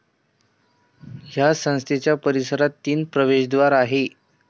या संस्थेच्या परीसरात तीन प्रवेशद्वार आहेत.